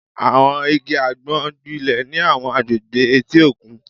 Àwọn igi àgbọn gbilẹ̀ ní àwọn agbègbè etí òkun